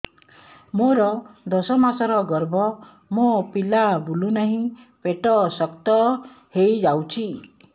ମୋର ଦଶ ମାସର ଗର୍ଭ ମୋ ପିଲା ବୁଲୁ ନାହିଁ ପେଟ ଶକ୍ତ ହେଇଯାଉଛି